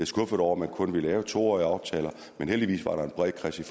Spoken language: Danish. skuffet over man kun vil lave to årige aftaler men heldigvis var der en bred kreds i